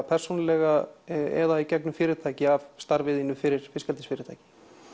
persónulega eða í gegnum fyrirtæki af starfi þínu fyrir fiskeldisfyrirtæki